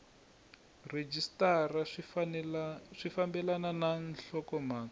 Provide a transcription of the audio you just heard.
rhejisitara swi fambelena na nhlokomhaka